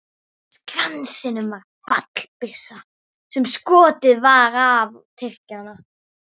Á Skansinum var fallbyssa sem skotið var af á Tyrkjann.